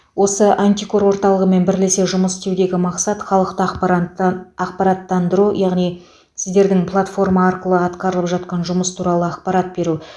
осы антикор орталығымен бірлесе жұмыс істеудегі мақсат халықты ахпарантты ақпараттандыру яңни сіздердің платформа арқылы атқарылып жатқан жұмыс туралы ақпарат беру